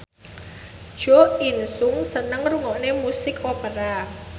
Jo In Sung seneng ngrungokne musik opera